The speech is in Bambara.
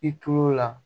I tulo la